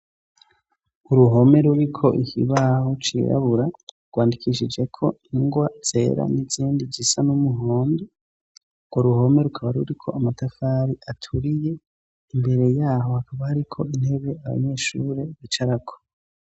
Uruhome ruri ko ikibaho cirabura rwandikishije ko ingwa zera n'izindi zisa n'umuhondo. Urwo ruhome rukaba ruri ko amatafari aturiye imbere yaho hakaba hari ko intebe abanyeshuri bicarako .